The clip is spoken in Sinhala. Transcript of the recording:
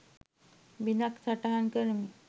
බිදක් සටහන් කරමි